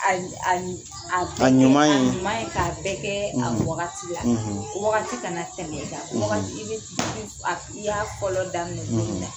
A ɲuman ye k'a bɛɛ kɛ a wagati la wagati kana tɛmɛ i kan i y'a fɔlɔ daminɛ cogo min na